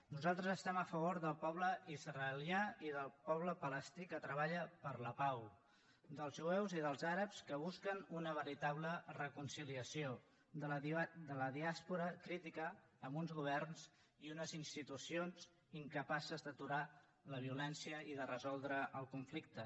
nosaltres estem a favor del poble israelià i del poble palestí que treballen per la pau dels jueus i dels àrabs que busquen una veritable reconciliació de la diàspora crítica amb uns governs i unes institucions incapaces d’aturar la violència i de resoldre el conflicte